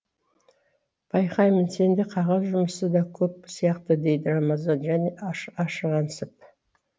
байқаймын сенде қағаз жұмысы да көп сияқты дейді рамазан жаны ашығансып